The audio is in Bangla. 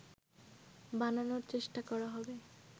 বানানোর চেষ্টা করা হবে